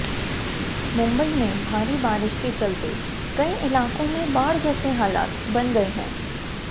मुंबई में भारी बारिश के चलते कई इलाकों में बाढ़ जैसे हालात बन गए हैं